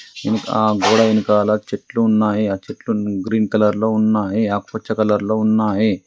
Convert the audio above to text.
మ్ ఆ గోడ వెనకాల చెట్లు ఉన్నాయి. ఆ చెట్లు గ్రీన్ కలర్లో ఉన్నాయి ఆకుపచ్చ కలర్లో ఉన్నాయి.